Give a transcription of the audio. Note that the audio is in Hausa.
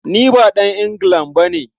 Ni ba ɗan Anglican ba ne.